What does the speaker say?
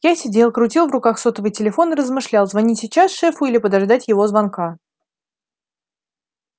я сидел крутил в руках сотовый телефон и размышлял звонить сейчас шефу или подождать его звонка